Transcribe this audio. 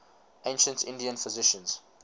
ancient indian physicians